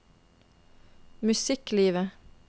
musikklivet